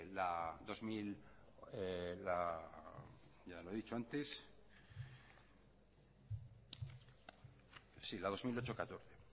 la dos mil ocho barra catorce